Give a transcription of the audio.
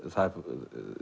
það er